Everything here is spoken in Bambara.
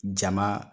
Jama